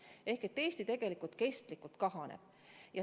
See tähendab, et Eesti rahvastik tegelikult pidevalt kahaneb.